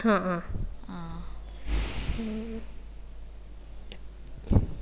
ആ ആഹ് ഉം